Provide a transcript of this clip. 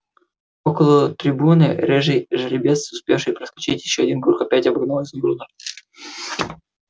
около трибуны рыжий жеребец успевший проскачить ещё один круг опять обогнал изумруда